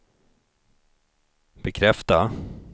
bekräfta